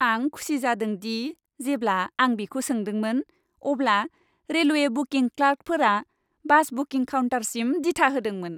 आं खुसि जादों दि जेब्ला आं बिखौ सोंदोंमोन, अब्ला रेलवे बुकिं क्लार्कफोरा बास बुकिं काउन्टारसिम दिथा होदोंमोन।